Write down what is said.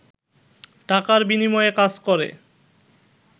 টাকার বিনিময়ে কাজ করে